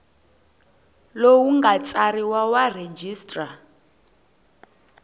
lowu nga tsariwa wa registrar